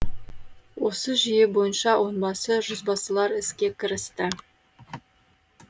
осы жүйе бойынша онбасы жүзбасылар іске кірісті